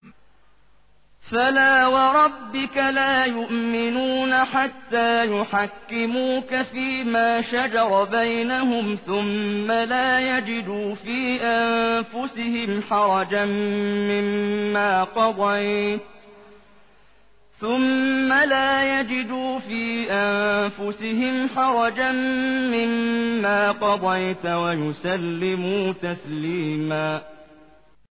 فَلَا وَرَبِّكَ لَا يُؤْمِنُونَ حَتَّىٰ يُحَكِّمُوكَ فِيمَا شَجَرَ بَيْنَهُمْ ثُمَّ لَا يَجِدُوا فِي أَنفُسِهِمْ حَرَجًا مِّمَّا قَضَيْتَ وَيُسَلِّمُوا تَسْلِيمًا